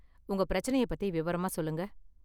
உங்க பிரச்சனைய பத்தி விவரமா சொல்லுங்க.